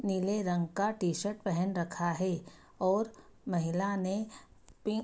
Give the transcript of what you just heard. नीले रंग का टी-शर्ट पहन रखा है और महिला ने पिंक --